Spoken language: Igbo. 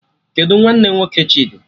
Kedụ nwanne nwoke Chidi?